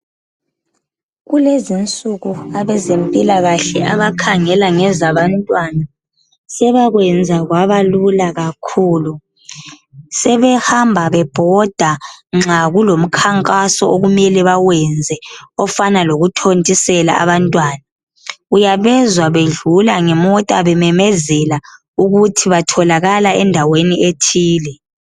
Kulezi nsuku abazempilakahle abakhangela ngezabantwana sebakwenza kwabalula kakhulu sebehamba bebhoda nxa kulomkhankhaso okumele bawenze ofana lokutontisela abantwana uyabezwa bedlula ngemota bememezela ukuthi batholakala endaweni ethile